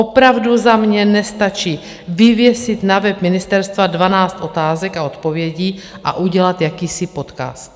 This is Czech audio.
Opravdu za mě nestačí vyvěsit na web ministerstva 12 otázek a odpovědí a udělat jakýsi podcast.